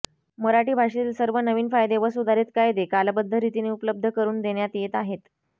मराठी भाषेतील सर्व नवीन कायदे व सुधारित कायदे कालबद्ध रीतीने उपलब्ध करून देण्यात येत आहेत